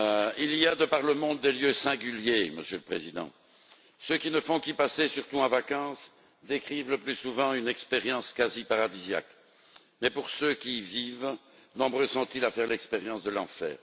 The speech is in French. Il y a de par le monde des lieux singuliers, Monsieur le Président. Ceux qui ne font qu'y passer, surtout en vacances, décrivent le plus souvent une expérience quasi paradisiaque, mais parmi ceux qui y vivent, nombreux sont ceux qui font l'expérience de l'enfer.